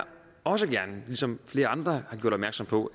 også gerne ligesom flere andre har gjort opmærksom på